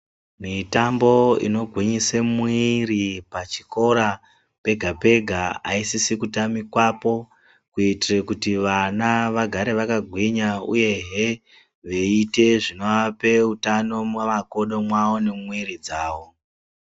Mitambo inogwinyisa mwiri pachikora pega pega haisisi kutamikapo kuitira vana vagare vakagwinya uyehe vaita zvinovapa utano mumagodo mwavo nemumwiri dzavo